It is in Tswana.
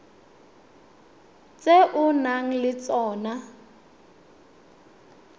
tse o nang le tsona